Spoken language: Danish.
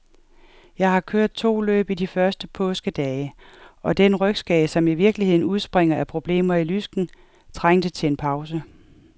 Jeg har kørt to løb i de første påskedage, og den rygskade, som i virkeligheden udspringer af problemer i lysken, trængte til en pause.